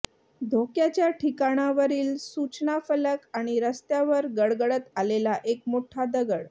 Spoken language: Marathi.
धोक्याच्या ठिकाणांवरील सूचनाफलक आणि रस्त्यावर गडगडत आलेला एक मोठा दगड